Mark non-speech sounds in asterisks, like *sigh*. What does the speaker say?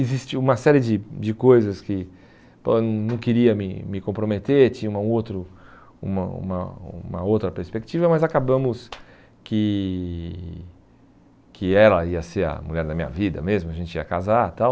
Existia uma série de de coisas que, pô, eu não queria me me comprometer, tinha uma outro *unintelligible* uma uma uma outra perspectiva, mas acabamos que que ela ia ser a mulher da minha vida mesmo, a gente ia casar e tal.